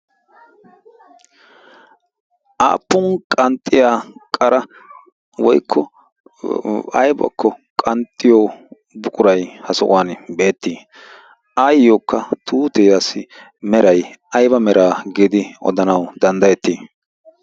Aappun qanxxiya qara woykko aybakko qanxxiyo buquray ha sohuwan beettii? Ayyokka tuutiyassi meray ayba giidi odanawu danddayettii?